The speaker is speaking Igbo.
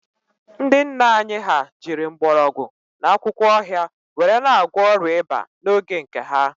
Ndị nna anyị ha jiri mgbọrọgwụ na akwụkwọ ọhịa were na-agwọ ọrịa ịba n'oge nke ha